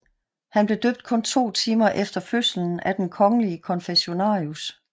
Han blev døbt kun to timer efter fødslen af den kongelige konfessionarius